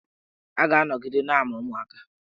A ga-anọgide na-amụ ụmụaka.